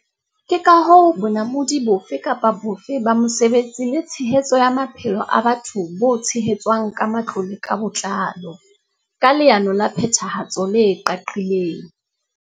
Ke ka hoo bonamodi bofe kapa bofe ba mosebetsi le tshehetso ya maphelo a batho bo tshehetswang ka matlole ka botlalo, ka leano la phethahatso le qaqileng.